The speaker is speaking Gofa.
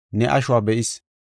ne ashuwa be7is.